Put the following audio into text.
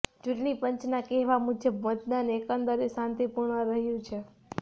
ચૂંટણી પંચના કહેવા મુજબ મતદાન એકંદરે શાંતિ પૂર્ણ રહ્યું છે